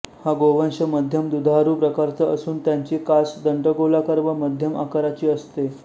हा गोवंश मध्यम दुधारू प्रकारचा असून त्यांची कास दंडगोलाकार व मध्यम आकाराची असते